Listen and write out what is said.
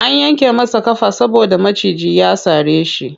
An yanke masa ƙafa saboda maciji ya sare shi.